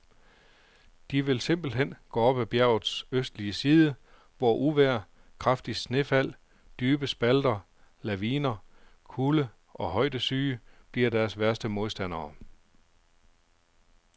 De vil simpelthen gå op ad bjergets østlige side, hvor uvejr, kraftige snefald, dybe spalter, laviner, kulde og højdesyge bliver deres værste modstandere.